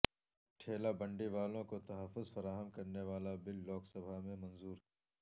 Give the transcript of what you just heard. ٹھیلہ بنڈی والوں کو تحفظ فراہم کرنے والا بل لوک سبھا میں منظور